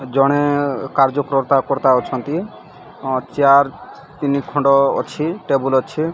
ଜଣେ କାର୍ଯ୍ୟକର୍ତ୍ତା ଫର୍ତ୍ତା ଅଛନ୍ତି ଅନ ଚେୟାର ତିନିଖଣ୍ଡ ଅଛି ଟେବୁଲ ଅଛି।